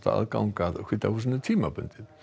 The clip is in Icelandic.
aðgang að hvíta húsinu tímabundið en